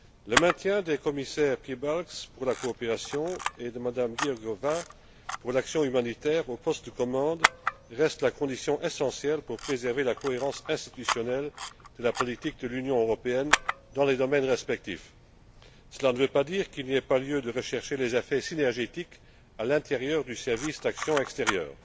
Le maintien des commissaires Piebalgs, pour la coopération, et Georgieva, pour l'action humanitaire, aux postes de commande reste la condition essentielle pour préserver la cohérence institutionnelle de la politique de l'Union européenne dans les domaines en question. Cela ne veut pas dire qu'il n'y a pas lieu de rechercher d'effets synergétiques à l'intérieur du service pour l'action extérieure.